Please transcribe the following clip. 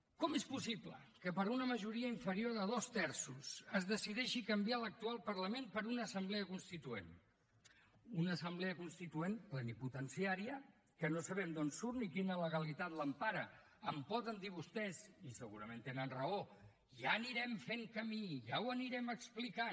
com és possible que per una majoria inferior a dos terços es decideixi canviar l’actual parlament per una assemblea constituent una assemblea constituent plenipotenciària que no sabem d’on surt ni quina legalitat l’empara em poden dir vostès i segurament tenen raó ja anirem fent camí ja ho anirem explicant